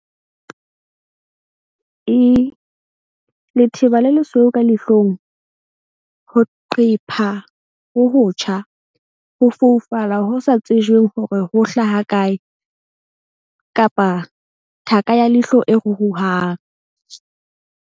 I - Letheba le lesweu ka leihlong, ho qepha ho hotjha, ho foufala ho sa tsejweng hore ho hlaha kae kapa thaka ya leihlo e ruruhang.